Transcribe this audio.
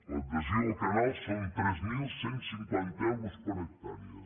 l’adhesió al canal són tres mil cent i cinquanta euros per hectàrea